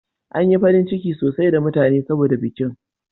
An yi farin ciki sosai da mutane saboda bikin.